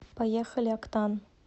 поехали октан